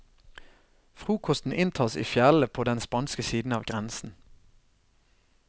Frokosten inntas i fjellene på den spanske siden av grensen.